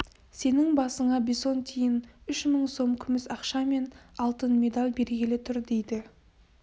сенің басыңа бесонтиін үш мың сом күміс ақша мен алтын медаль бергелі тұр дейді